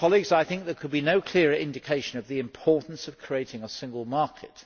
I think there can be no clearer indication of the importance of creating a single market.